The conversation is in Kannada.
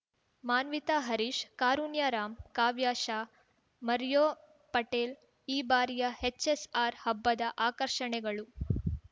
ಮಾನ್ವಿತ ಹರೀಶ್‌ ಕಾರುಣ್ಯರಾಮ್‌ ಕಾವ್ಯ ಶಾ ಮರ್ಯೋ ಪಟೇಲ್‌ ಈ ಬಾರಿಯ ಹೆಚ್‌ಎಸ್‌ಆರ್‌ ಹಬ್ಬದ ಆಕರ್ಷಣೆಗಳು